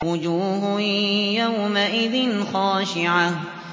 وُجُوهٌ يَوْمَئِذٍ خَاشِعَةٌ